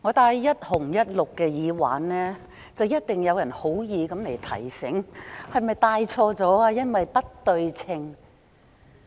主席，當我戴着"一紅一綠"的耳環，一定有人會好意提醒，問我是否戴錯了，因為不對稱。